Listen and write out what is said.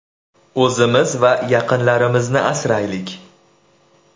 O‘zimiz va yaqinlarimizni asraylik!